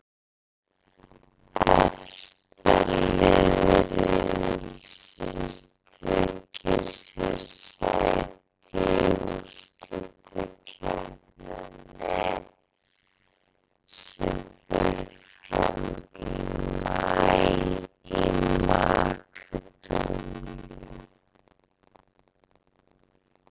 Efsta lið riðilsins tryggir sér sæti í úrslitakeppninni sem fram fer í maí í Makedóníu.